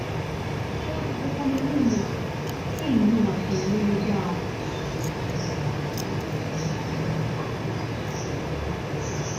bí wọn ṣe pọn mi lé yẹn kí èmi náà yáa pọn wọn lè lọ dáa